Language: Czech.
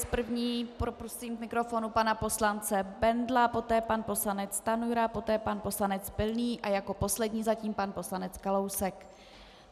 S první poprosím k mikrofonu pana poslance Bendla, poté pan poslanec Stanjura, poté pan poslanec Pilný a jako poslední zatím pan poslanec Kalousek.